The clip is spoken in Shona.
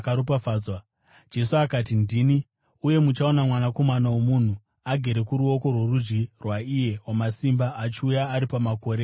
Jesu akati, “Ndini. Uye muchaona Mwanakomana woMunhu agere kuruoko rworudyi rwaIye Wamasimba achiuya ari pamakore okudenga.”